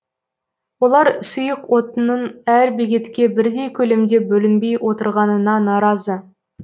олар сұйық отынның әр бекетке бірдей көлемде бөлінбей отырғанына наразы